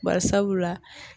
Bari sabula